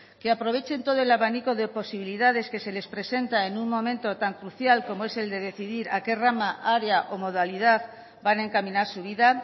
que aprovechen todo el abanico de posibilidades que se les presenta en un momento tan crucial como es el de decidir a qué rama área o modalidad van a encaminar su vida